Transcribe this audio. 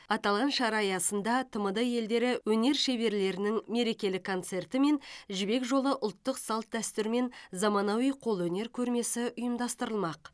аталған шара аясында тмд елдері өнер шеберлерінің мерекелік концерті мен жібек жолы ұлттық салт дәстүр мен заманауи қолөнер көрмесі ұйымдастырылмақ